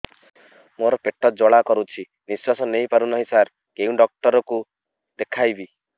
ମୋର ପେଟ ଜ୍ୱାଳା କରୁଛି ନିଶ୍ୱାସ ନେଇ ପାରୁନାହିଁ ସାର କେଉଁ ଡକ୍ଟର କୁ ଦେଖାଇବି